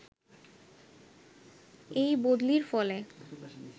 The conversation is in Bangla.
এই বদলির ফলে